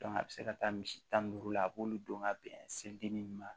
a bɛ se ka taa misi tan ni duuru la a b'olu don ka bɛn se dennin ninnu ma